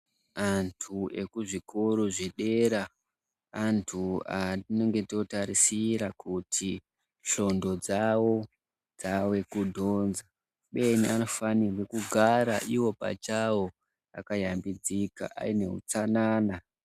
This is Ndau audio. Antu ekuzvikoro zvedera antu atinenge totarisira kuti shondlo dzawo dzawe kudhonza uyeni anofanirwe kugara iwo pachawo pakayambidzika aine utsanana.